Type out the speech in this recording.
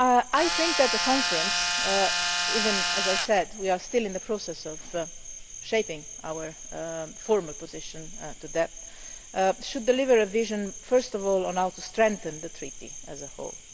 I think that the conference even if, as I said, we are still in the process of shaping our formal position on that should deliver a vision first of all on how to strengthen the Treaty as a whole.